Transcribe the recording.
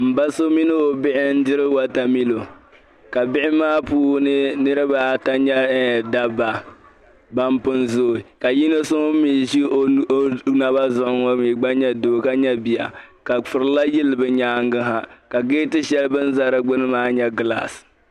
N ba so mini obihi n diri Water milɔ. kabihi maa puuni niribi ata nyɛdaba ban pun zooi ka yinɔ so ŋun mi ʒi ɔnaba zuɣu ŋɔ mi gba nyɛ doo ka nyɛ biya kafurila yili bi nyaaŋa na ka gete shɛli. bin ʒɛ di gbuni maa nya glass